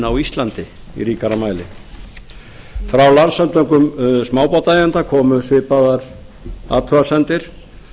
á íslandi í ríkari mæli frá landssamtökum smábátaeigenda komu svipaðar athugasemdir